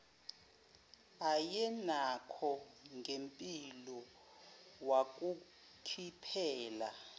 ayenakho ngempilo wakukhiphela